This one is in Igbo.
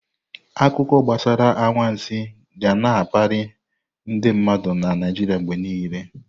Akụkọ gbasara anwansi ga na-akpalị ndị mmadụ na Naijiria mgbe niile.